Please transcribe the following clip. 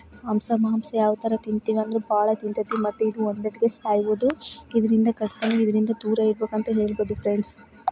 ಹಂಸ ಮಾಂಸ ಯಾವ ತರ ತಿಂತೀವಿ ಅಂದ್ರೆ ಬಹಳ ತಿಂತಾ ಐತಿ ಮತ್ತೆ ಇದು ಒಂದೆಟ್ಕೆ ಸಾಯ್ಬೋದು ಇದರಿಂದ ಕಷ್ಟ ಇದರಿಂದ ದೂರ ಇರಬೇಕು ಅಂತ ಹೇಳಬಹುದು ಫ್ರೆಂಡ್ಸ್ .